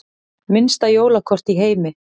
Minnsta jólakort í heimi